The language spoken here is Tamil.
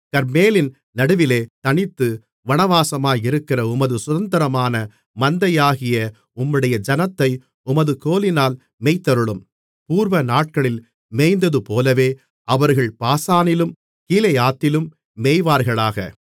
கர்மேலின் நடுவிலே தனித்து வனவாசமாயிருக்கிற உமது சுதந்தரமான மந்தையாகிய உம்முடைய ஜனத்தை உமது கோலினால் மேய்த்தருளும் பூர்வநாட்களில் மேய்ந்தது போலவே அவர்கள் பாசானிலும் கீலேயாத்திலும் மேய்வார்களாக